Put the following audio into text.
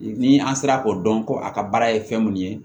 Ni an sera k'o dɔn ko a ka baara ye fɛn mun ye